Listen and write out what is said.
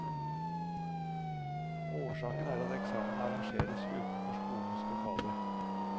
Årsaken er at eksamen arrangeres utenfor skolens lokaler.